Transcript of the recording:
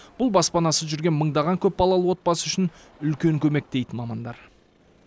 бұл баспанасыз жүрген мыңдаған көпбалалы отбасы үшін үлкен көмек дейді мамандар